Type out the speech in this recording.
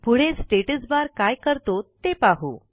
पुढे status bar काय करतो ते पाहू